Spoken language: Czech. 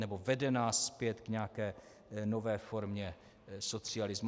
Nebo vede nás zpět k nějaké nové formě socialismu.